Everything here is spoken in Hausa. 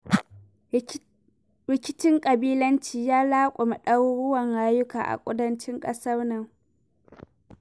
Rikincin ƙabilanci ya laƙume ɗaruruwan rayuwaka a kudancin ƙasar nan.